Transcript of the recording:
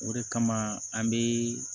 O de kama an be